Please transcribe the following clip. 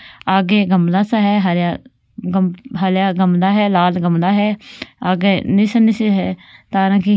आगे गमला सा हरा हरा गमला है लाल गमला है आगे निसरनी सी है तारा की --